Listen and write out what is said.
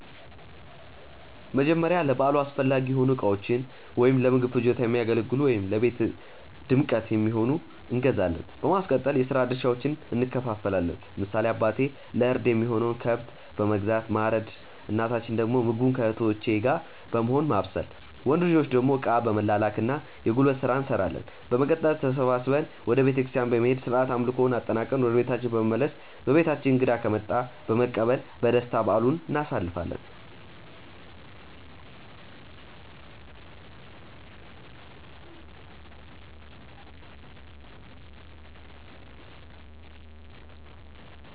መጀመርያ ለበዓሉ አስፈላጊ የሆኑ እቃዎችን(ለምግብ ፍጆታ የሚያገለግሉ ወይም ለቤት ድምቀት የሚሆን)እንገዛዛለን። በማስቀጠል የስራ ድርሻዎችን እንከፋፈላለን። ለምሳሌ አባቴ ለእርድ የሚሆነውን ከብት በመግዛት ማረድ እናታችን ደግሞ ምግቡን ከእህቶቼ ጋር በመሆን ማብሰል። ወንድ ልጆች ደግሞ እቃ በመላላክ እና የጉልበት ስራ እንሰራለን። በመቀጠል ተሰብስበን ወደ ቤተክርስቲያን በመሄድ ስርዓተ አምልኮውን አጠናቅቀን ወደ ቤታችን በመመለስ በቤታችን እንግዳ ከመጣ በመቀበል በደስታ በዓሉን እናሳልፋለን።